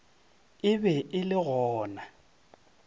e be e le gona